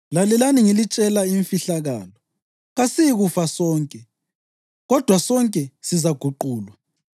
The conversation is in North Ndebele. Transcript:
Lalelani, ngilitshela imfihlakalo: Kasiyikufa sonke, kodwa sonke sizaguqulwa,